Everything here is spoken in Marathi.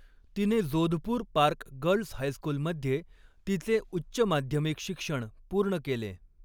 तिने जोधपूर पार्क गर्ल्स हायस्कूलमध्ये तिचे उच्च माध्यमिक शिक्षण पूर्ण केले.